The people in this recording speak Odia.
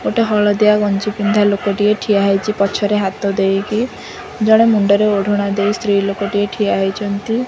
ଗୋଟେ ହଳଦିଆ ଗଞ୍ଜି ପିନ୍ଧା ଲୋକଟିଏ ଠିଆ ହେଇଚି ପଛରେ ହାତ ଦେଇକି ଜଣେ ମୁଣ୍ଡରେ ଓଢ଼ଣା ଦେଇ ସ୍ତ୍ରୀ ଲୋକଟିଏ ଠିଆ ହେଇଛନ୍ତି।